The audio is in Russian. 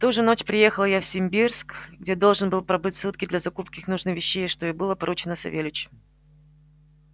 в ту же ночь приехал я в симбирск где должен был пробыть сутки для закупки нужных вещей что и было поручено савельичу